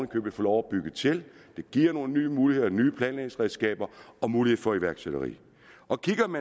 købet få lov at bygge til det giver nogle nye muligheder nye planlægningsredskaber og mulighed for iværksætteri